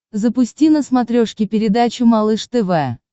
запусти на смотрешке передачу малыш тв